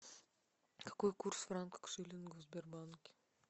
какой курс франка к шиллингу в сбербанке